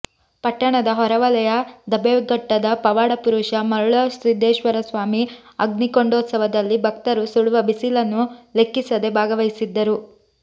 ಪಟ್ಟಣದ ಹೊರವಲಯ ದಬ್ಬೆಘಟ್ಟದ ಪವಾಡ ಪುರುಷ ಮರುಳಸಿದ್ದೇಶ್ವರ ಸ್ವಾಮಿ ಅಗ್ನಿಕೊಂಡೋತ್ಸವದಲ್ಲಿ ಭಕ್ತರು ಸುಡುವ ಬಿಸಿಲನ್ನೂ ಲೆಕ್ಕಿಸದೆ ಭಾಗವಹಿಸಿದ್ದರು